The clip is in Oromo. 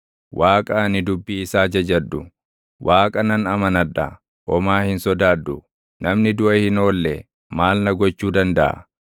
Waaqa ani dubbii isaa jajadhu, Waaqa nan amanadha; homaa hin sodaadhu. Namni duʼa hin oolle maal na gochuu dandaʼa?